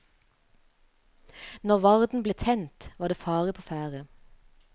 Når varden ble tent, var det fare på ferde.